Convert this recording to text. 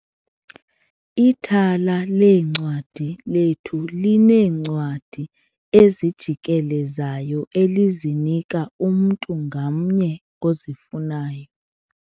Ithala leencwadi lethu lineencwadi ezijikelezayo elizinika umntu ngamnye ozifunayo.